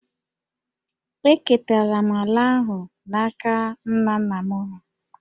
Eketara m ala ahụ n’aka nna nna m hà